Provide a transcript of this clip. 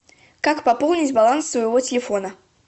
как пополнить баланс своего телефона